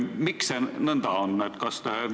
Miks see nõnda on?